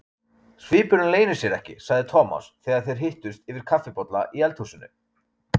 Svipurinn leynir sér ekki, sagði Thomas þegar þeir hittust yfir kaffibolla í eldhúsinu.